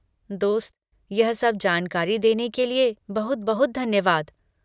दोस्त, यह सब जानकारी देने के लिए बहुत बहुत धन्यवाद।